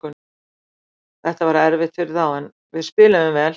Þetta var erfitt fyrir þá, en við spiluðum vel.